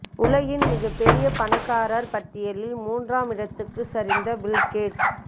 உலகின் மிகப் பெரிய பணக்காரர் பட்டியலில் மூன்றாம் இடத்துக்குச் சரிந்த பில்கேட்ஸ்